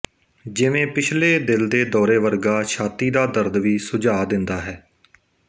ਜਿਵੇਂ ਪਿਛਲੇ ਦਿਲ ਦੇ ਦੌਰੇ ਵਰਗਾ ਛਾਤੀ ਦਾ ਦਰਦ ਵੀ ਸੁਝਾਅ ਦਿੰਦਾ ਹੈ